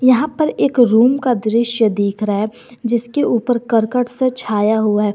यहां पर एक रूम का दृश्य दिख रहा है जिसके ऊपर करकट से छाया हुआ है।